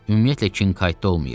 Ümumiyyətlə Kinkayda olmayıb.